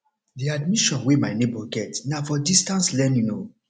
the admission wey my nebor get na for distance learning o